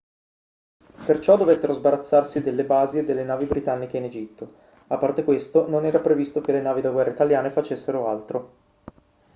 perciò dovettero sbarazzarsi delle basi e delle navi britanniche in egitto a parte questo non era previsto che le navi da guerra italiane facessero altro